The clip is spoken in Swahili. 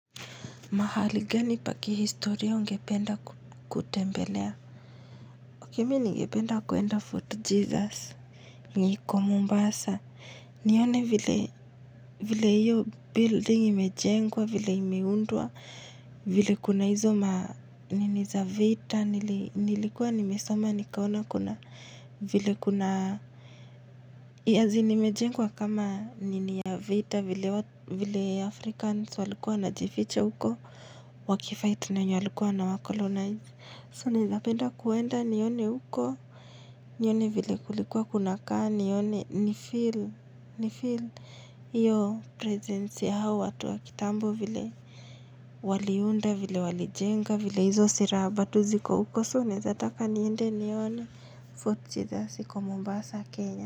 Mahali gani pa kihistoria ungependa kutembelea? Mi ningependa kuenda Fort Jesus iko Mombasa nione vile hiyo building imejengwa vile imeundwa vile kuna hizo manini za vita nilikuwa nimesoma nikaona vile imejengwa kama nini ya vita vile Africans walikuwa wanajificha huko waki fight na wenye walikuwa wanacolonize So nawezapenda kuenda nione huko nione vile kulikuwa kunakaa nifeel hiyo presence ya hao watu kitambo vile Waliunda vile walijenga vile hizo silaha bado ziko huko So naweza taka niende nione Fort Jesus huko Mombasa Kenya.